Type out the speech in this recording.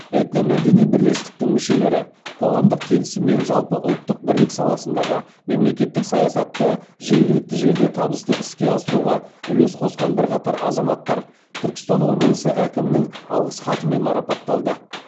этномәдени бірлестіктің мүшелері қоғамдық келісім мен жалпыұлттық бірлік саласындағы мемлекеттік саясатты жергілікті жерде табысты іске асыруға үлес қосқан бірқатар азаматтар түркістан облысы әкімінің алғыс хатымен марапатталды